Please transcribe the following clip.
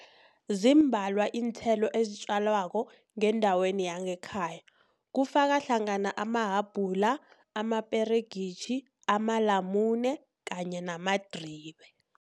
Zimbalwa iinthelo ezitjalwako ngendaweni yangekhaya. Kufaka hlangana amahabhula, amaperegitjhi, amalamune kanye namadribe.